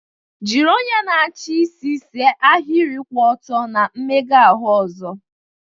Jiri onye na-achị isi see ahịrị kwụ ọtọ na mmega ahụ ọzọ.